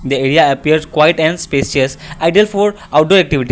the area appears quite and spacious idea for outdoor activity.